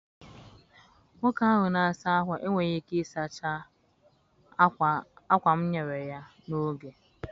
Nwoke ahụ na-asa ákwà enweghị ike sachara ákwá m nyere ya n'oge.